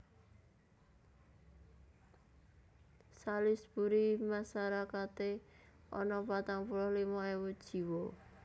Salisbury masarakaté ana patang puluh limo ewu jiwa